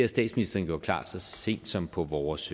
statsministeren gjort klar så sent som på vores